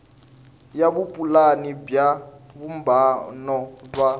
ya vupulani bya vumbano wa